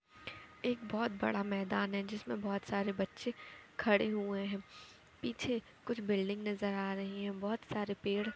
एक बोहोत बड़ा मैदान है जिसमे बोहोत सारे बच्चे खड़े हुए हैं। पीछे कुछ बिल्डिंग नजर आ रही हैं बहुत सारे पेड़ --